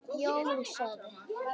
Jón sagði